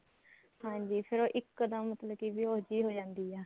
ਹਾਂਜੀ ਫੇਰ ਉਹ ਇੱਕੋ ਦਮ ਮਤਲਬ ਕਿ ਬੇਹੋਸ਼ ਜੀ ਹੋ ਜਾਂਦੀ ਆ